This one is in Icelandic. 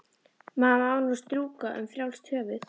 Maður má nú strjúka um frjálst höfuð!